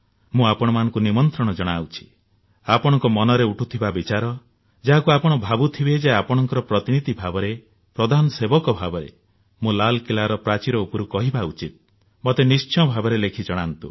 ମୁଁ ଆପଣଙ୍କୁ ନିମନ୍ତ୍ରଣ ଜଣାଉଛି ଆପଣଙ୍କ ମନରେ ଉଠୁଥିବା ବିଚାର ଯାହାକୁ ଆପଣ ଭାବୁଥିବେ ଯେ ଆପଣଙ୍କ ପ୍ରତିନିଧି ଭାବରେ ପ୍ରଧାନ ସେବକ ଭାବରେ ମୁଁ ଲାଲକିଲ୍ଲାର ପ୍ରାଚୀର ଉପରୁ କହିବା ଉଚିତ ମତେ ନିଶ୍ଚିତ ଭାବରେ ଲେଖି ଜଣାନ୍ତୁ